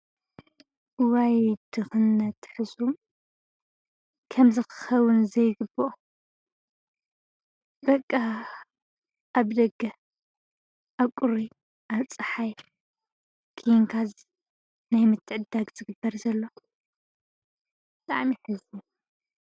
ወይድኽነት ሕዙ ከም ዝኽኸውን ዘይግብኦ በቃ ኣብ ደገህ ኣቊሪ ኣብፀሓይ ኪንካዝ ናይምትዕዳግ ዝግበር ዘሎ ጠዓሚ የሕዝኑ ::